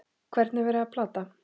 Hvern er verið að plata?